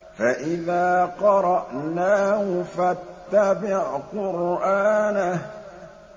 فَإِذَا قَرَأْنَاهُ فَاتَّبِعْ قُرْآنَهُ